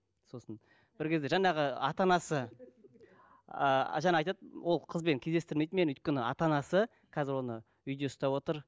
сосын бір кезде жаңағы ата анасы ы жаңа айтады ол қызбен кездестірмейді мені өйткені ата анасы қазір оны үйде ұстап отыр